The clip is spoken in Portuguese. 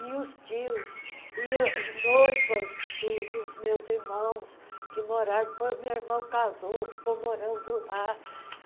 E os tios, e noivas dos meus irmãos que moraram... o meu irmão casou, ficou morando lá.